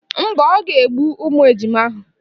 Mba, o ga-egbu ụmụ ejima ahụ.